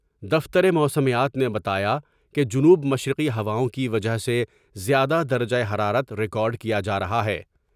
دفتر موسمیات نے بتایا کہ جنوب مشرقی ہواؤں کی وجہ سے زیادہ درجہ حرارت ریکارڈ کیا جارہا ہے ۔